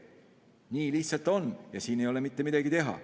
Nii lihtsalt on ja siin ei ole mitte midagi teha.